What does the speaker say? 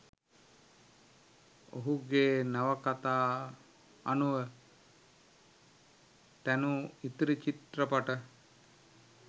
ඔහුගේ නවකතා අනුව තැනූ ඉතිරි චිත්‍රපට